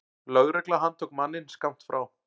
Lögregla handtók manninn skammt frá.